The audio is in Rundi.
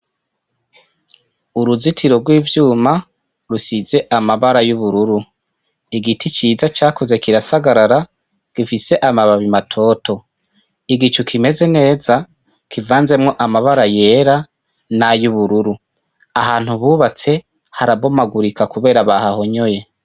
Uruzitiro rw'ivyuma rusize amabara y'ubururu, igiti ciza cakuze kirasagarara gifise amababi matoto, igicu kimeze neza kivanzemwo amabara yera nay'ubururu, ahantu bubatse hara bomagamurika kubera bahahonyoye.